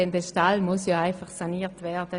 Der Stall muss ja einfach saniert werden.